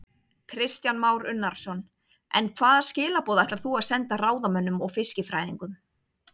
Kristján Már Unnarsson: En hvaða skilaboð ætlar þú að senda ráðamönnum og fiskifræðingum?